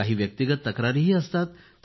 काही व्यक्तिगत तक्रारीही असतात